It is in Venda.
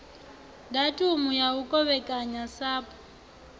datumu ya u kovhekanya sapu